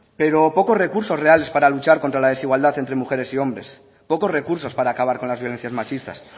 pero poco recursos reales para luchar contra la desigualdad entre mujeres y hombres pocos recursos para acabar con las violencias machistas